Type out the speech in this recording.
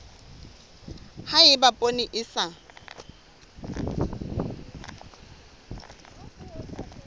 ha eba poone e sa